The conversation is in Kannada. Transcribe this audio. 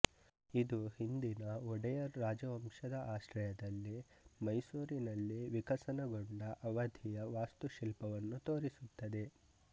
ಇದು ಹಿಂದಿನ ಒಡೆಯರ್ ರಾಜವಂಶದ ಆಶ್ರಯದಲ್ಲಿ ಮೈಸೂರಿನಲ್ಲಿ ವಿಕಸನಗೊಂಡ ಅವಧಿಯ ವಾಸ್ತುಶಿಲ್ಪವನ್ನು ತೋರಿಸುತ್ತದೆ